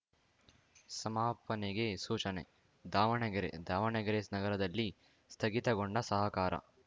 ಸಮಾಪನೆಗೆ ಸೂಚನೆ ದಾವಣಗೆರೆ ದಾವಣಗೆರೆ ನಗರದಲ್ಲಿ ಸ್ಥಗಿತಗೊಂಡ ಸಹಕಾರ